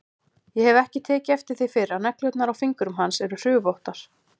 Ég hef ekki tekið eftir því fyrr að neglurnar á fingrum hans eru hrufóttar.